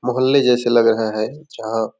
मोहल्ले जैसे लग रहा हैं जहाँ--